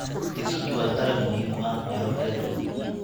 Digirtu waa dalag muhiim u ah meelo kala duwan.